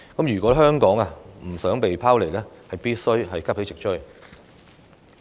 如果香港不想被拋離，便須急起直追。